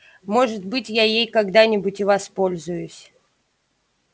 может быть я ей когда-нибудь и воспользуюсь